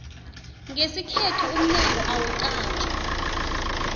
ngesikhethu umnyango awuqatjwa